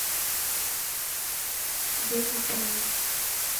беби тайм